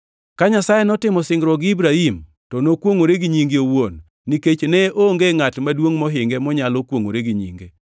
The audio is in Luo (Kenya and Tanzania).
Ka Nyasaye notimo singruok gi Ibrahim to nokwongʼore gi nyinge owuon, nikech ne onge ngʼat maduongʼ mohinge monyalo kwongʼore gi nyinge,